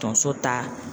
Tonso ta